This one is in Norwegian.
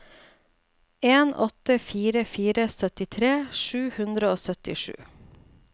en åtte fire fire syttitre sju hundre og syttisju